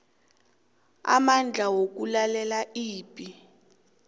amandla wokulalela ibe